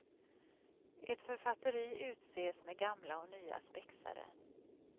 Ett författeri utses med gamla och nya spexare.